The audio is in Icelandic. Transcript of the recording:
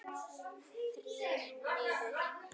Þrír niður.